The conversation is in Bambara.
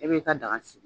E b'i ka daga sigi